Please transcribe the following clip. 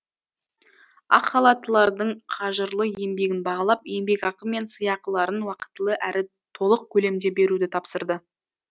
ақ халаттылардың қажырлы еңбегін бағалап еңбекақы мен сыйақыларын уақытылы әрі толық көлемде беруді тапсырды